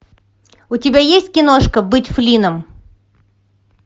у тебя есть киношка быть флинном